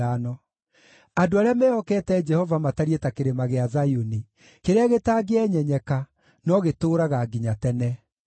Andũ arĩa mehokete Jehova matariĩ ta Kĩrĩma gĩa Zayuni, kĩrĩa gĩtangĩenyenyeka, no gĩtũũraga nginya tene.